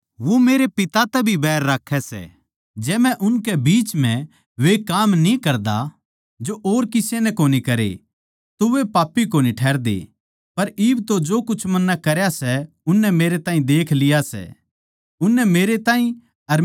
जै मै उनके बिच म्ह वे काम न्ही करदा जो और किसे नै कोनी करे तो वे पापी कोनी ठहरदे पर इब तो जो कुछ मन्नै करया सै उननै मेरै ताहीं देख लिया सै उननै मेरै ताहीं अर मेरे पिता दोनुआ तै बैर करया